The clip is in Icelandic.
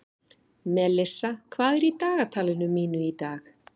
Melissa, hvað er í dagatalinu mínu í dag?